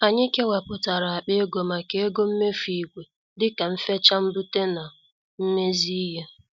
Anyị kewaputara akpa ego maka ego mmefu ìgwè dịka mfecha ,mbute na mmezi ihe.